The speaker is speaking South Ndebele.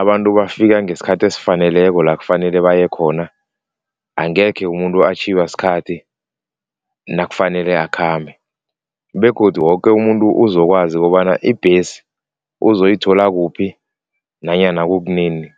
abantu bafika ngesikhathi esifaneleko la kufanele baye khona, angekhe umuntu atjhiywa sikhathi nakufanele akhambe begodu woke umuntu uzokwazi kobana ibhesi uzoyithola kuphi nanyana kukunini.